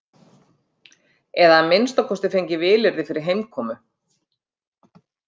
Eða að minnsta kosti fengið vilyrði fyrir heimkomu.